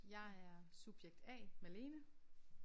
Jeg er subjekt A Malene